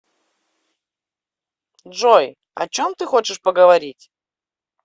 джой о чем ты хочешь поговорить